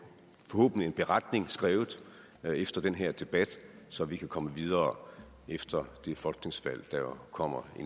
en beretning skrevet efter den her debat så vi kan komme videre efter det folketingsvalg der jo kommer